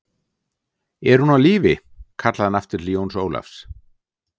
Er hún á lífi, kallaði hann aftur til Jóns Ólafs